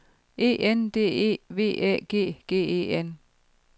E N D E V Æ G G E N